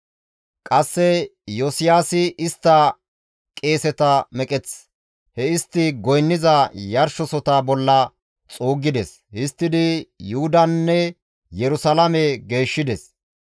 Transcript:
Qasse Iyosiyaasi istta qeeseta meqeth he istti goynniza yarshosota bolla xuuggides; histtidi Yuhudanne Yerusalaame geeshshides.